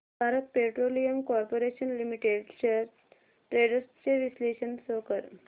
Bharat petroleum corporation limited shares trends चे विश्लेषण show कर